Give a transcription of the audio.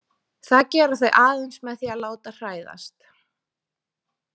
Það gera þau aðeins með því að láta hræðast.